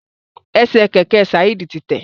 Ẹsẹ kẹkẹ Saeed ti tẹ.